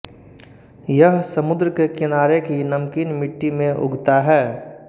यह समुद्र के किनारे की नमकीन मिट्टी में उगता है